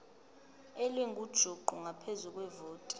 elingujuqu ngaphezu kwevoti